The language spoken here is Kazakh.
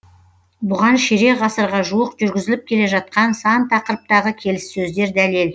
бұған ширек ғасырға жуық жүргізіліп келе жатқан сан тақырыптағы келіссөздер дәлел